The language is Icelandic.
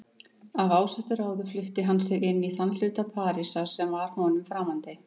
Af ásettu ráði flutti hann sig inn í þann hluta Parísar sem var honum framandi.